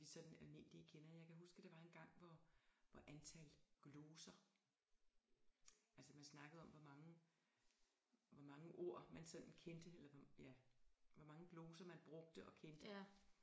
Som vi sådan almindelige kender jeg kan huske der var engang hvor hvor antal gloser altså man snakkede om hvor mange hvor mange ord man sådan kendte eller ja hvor mange gloser man brugte og kendte